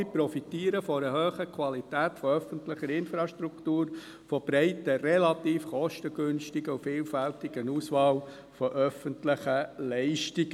Alle profitieren von einer hohen Qualität von öffentlicher Infrastruktur, von einer breiten, relativ kostengünstigen und vielfältigen Auswahl an öffentlichen Leistungen.